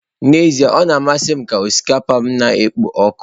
N'ezie o na-amasị m ka osikapa na-ekpo ọkụ.